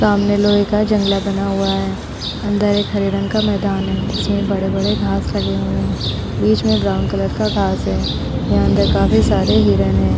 सामने लोहे का जंगला बना हुआ है। अंदर एक हरे रंग का मैदान है जिसमें बड़े बड़े घास लगे हुए है‌। बीच में ब्राउन कलर का घास है। यहाँ अंदर काफी सारे हिरन है।